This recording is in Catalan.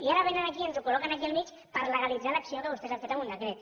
i ara vénen aquí i ens ho col·loquen aquí al mig per legalitzar l’acció que vostès han fet amb un decret